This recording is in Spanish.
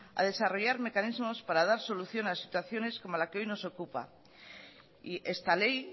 a desarrollar mecanismos para dar solución a situaciones como la que hoy nos ocupa y esta ley